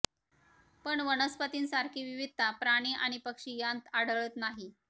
पण वनस्पतींसारखी विविधता प्राणी आणि पक्षी यांत आढळत नाही